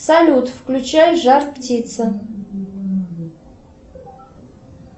салют включай жар птица